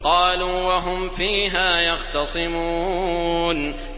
قَالُوا وَهُمْ فِيهَا يَخْتَصِمُونَ